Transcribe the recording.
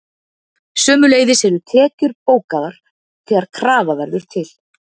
sömuleiðis eru tekjur bókaðar þegar krafa verður til